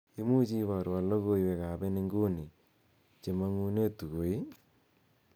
imuche iborwon logoiwek ab en inguni chemonguneb tuko ii